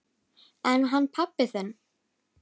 En hann pabbi þinn?